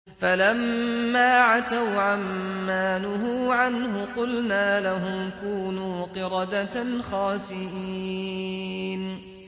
فَلَمَّا عَتَوْا عَن مَّا نُهُوا عَنْهُ قُلْنَا لَهُمْ كُونُوا قِرَدَةً خَاسِئِينَ